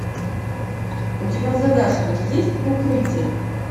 у тебя в загашнике есть укрытие